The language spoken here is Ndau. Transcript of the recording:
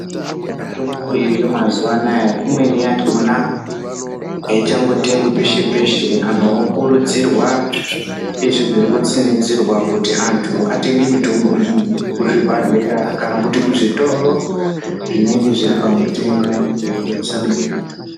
Mitombo iriyo mazuva anaya, imweni yakhona haichangotengwi peshe-peshe. Antu okurudzirwa, ndizvo zvirikutsinidzirwa kuti antu atenge mitombo iyi kuzvibhedhlera kana kuti kuzvitoro zvinenge zviripamutemo, kutengesa mutombo.